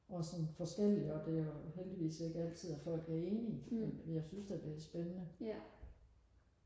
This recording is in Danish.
og sådan forskellige og det er jo heldigvis ikke altid at folk er enige men men jeg synes da det er spændende